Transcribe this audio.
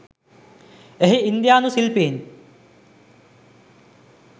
එහි ඉන්දියානු ශිල්පීන්